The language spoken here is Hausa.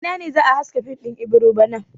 A ina ne za a haska fim din Ibiro bana?